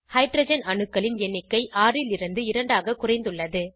hydrogen அணுக்களின் எண்ணிக்கை 6 லிருந்து 2 ஆக குறைந்துள்ளது